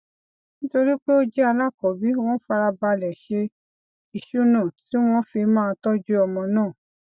nítorí pé ó jẹ alákọọbí wón fara balè ṣe ìṣúnà tí wón fi máa tójú ọmọ náà